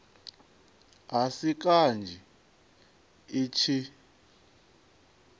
a si kanzhi i tshi